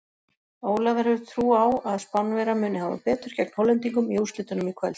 Ólafur hefur trú á að Spánverjar muni hafa betur gegn Hollendingum í úrslitunum í kvöld.